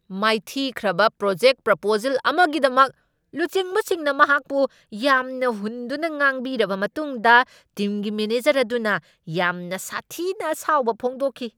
ꯃꯥꯏꯊꯤꯈ꯭ꯔꯕ project proposal ꯑꯃꯒꯤꯗꯃꯛ ꯂꯨꯆꯤꯡꯕꯁꯤꯡꯅ ꯃꯍꯥꯛꯄꯨ ꯌꯥꯝꯅ ꯍꯨꯟꯗꯨꯅ ꯉꯥꯡꯕꯤꯔꯕ ꯃꯇꯨꯡꯗ ꯇꯤꯝꯒꯤ ꯃꯦꯅꯦꯖꯔ ꯑꯗꯨꯅ ꯌꯥꯝꯅ ꯁꯥꯊꯤꯅ ꯑꯁꯥꯎꯕ ꯐꯣꯡꯗꯣꯛꯈꯤ꯫